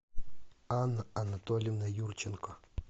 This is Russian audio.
анна анатольевна юрченко